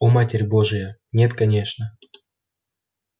о матерь божья нет конечно